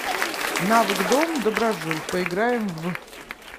навык дом доброжил поиграем в